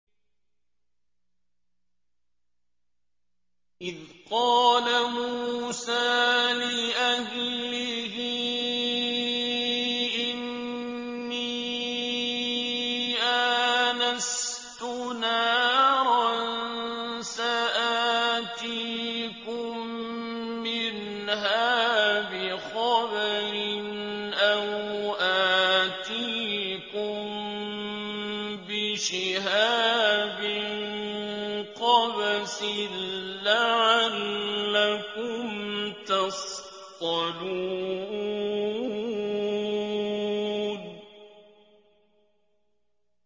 إِذْ قَالَ مُوسَىٰ لِأَهْلِهِ إِنِّي آنَسْتُ نَارًا سَآتِيكُم مِّنْهَا بِخَبَرٍ أَوْ آتِيكُم بِشِهَابٍ قَبَسٍ لَّعَلَّكُمْ تَصْطَلُونَ